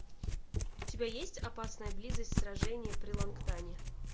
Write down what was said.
у тебя есть опасная близость сражение при лонгтане